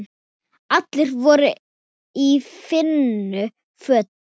Allir voru í fínum fötum.